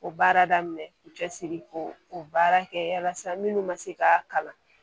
O baara daminɛ k'u cɛsiri ko o baara kɛ walasa minnu ka se k'a kalan